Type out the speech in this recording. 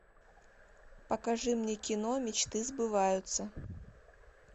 покажи мне кино мечты сбываются